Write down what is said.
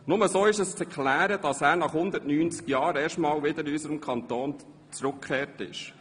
Nur so ist zu erklären, dass er nach 190 Jahren erstmals wieder in unseren Kanton zurückgekehrt ist;